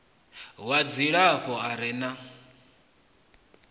wa dzilafho a re na